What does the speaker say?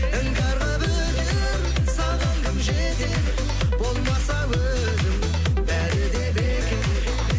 іңкәр қылып өтер саған кім жетер болмаса өзің бәрі де бекер